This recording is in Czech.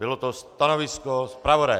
Bylo to stanovisko zpravodaje.